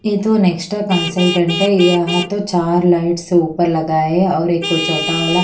ये तो नेक्स्टा कंसलटेंट है यहां तो चार लाइट्स ऊपर लगा है और एक छोटा वाला--